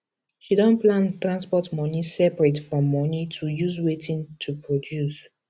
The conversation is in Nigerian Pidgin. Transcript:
she don plan transport money separate from money to use wetin toproduce